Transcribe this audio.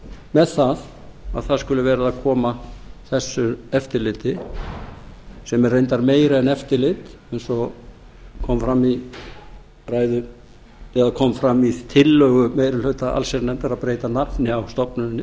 með það að það skuli verið að koma á þessu eftirliti sem er reyndar meira en eftirlit eins og kom fram í tillögu meiri hluta allsherjarnefndar að breyta nafni á stofnuninni